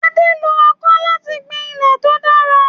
Ade lo ọkọ́ láti gbin ilẹ̀ tó dára.